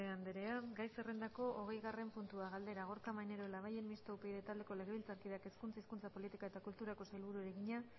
andrea gai zerrendako hogeigarren puntua galdera gorka maneiro labayen mistoa upyd taldeko legebiltzarkideak hezkuntza hizkuntza politika eta kulturako sailburuari egina